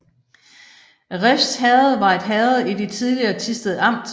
Refs Herred var et herred i det tidligere Thisted Amt